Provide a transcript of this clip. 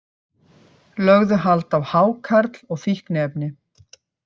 Lögðu hald á hákarl og fíkniefni